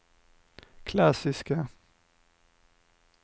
klassiska